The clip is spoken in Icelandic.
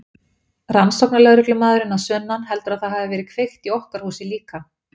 Rannsóknarlögreglumaðurinn að sunnan heldur að það hafi verið kveikt í okkar húsi líka.